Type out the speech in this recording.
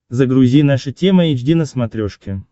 загрузи наша тема эйч ди на смотрешке